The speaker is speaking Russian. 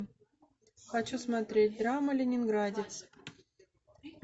хочу смотреть драма ленинградец